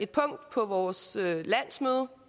punkt på vores landsmøde